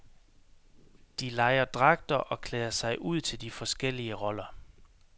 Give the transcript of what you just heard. De lejer dragter og klæder sig ud til de forskellige roller.